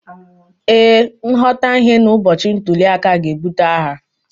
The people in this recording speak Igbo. ee, nghọtahie n’ụbọchị ntuli aka ga-ebute agha